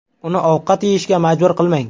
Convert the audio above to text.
Uni ovqat yeyishga majbur qilmang.